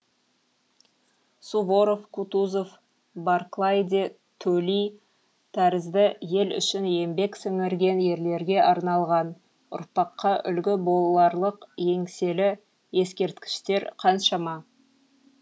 суворов кутузов барклай де төли тәрізді ел үшін еңбек сіңірген ерлерге арналған ұрпаққа үлгі боларлық еңселі ескерткіштер қаншама